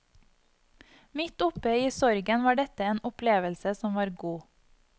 Midt oppe i sorgen var dette en opplevelse som var god.